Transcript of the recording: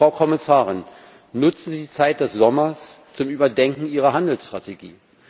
Frau Kommissarin, nutzen Sie die Zeit des Sommers zum Überdenken Ihrer Handelsstrategie!